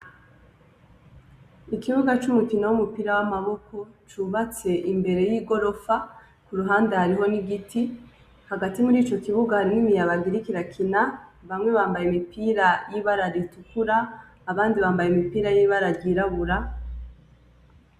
Ku kibuga c'umukino w'umupira w'amaboko cubatse imbere y'igorofa, iruhande hariho n'igiti, hagati muri ico kibuga harimwo imiyabaga iriko irakina, bamwe bambaye imipira y'ibara ritukura, abandi bambaye imipira y'ibara ryirabura.